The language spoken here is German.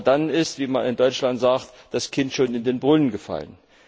Aber dann ist, wie man in Deutschland sagt, das Kind schon in den Brunnen gefallen.